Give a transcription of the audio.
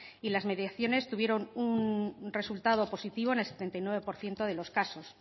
y las mediaciones tuvieron un resultado positivo en el setenta y nueve por ciento de los casos